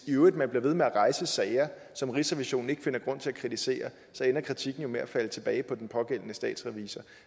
i øvrigt bliver ved med at rejse sager som rigsrevisionen ikke finder grund til at kritisere så ender kritikken jo med at falde tilbage på den pågældende statsrevisor